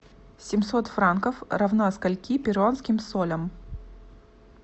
семьсот франков равно скольки перуанским солям